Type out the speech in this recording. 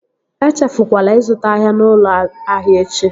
E echefukwala ịzụta ahịa n'ụlọ ahịa echi!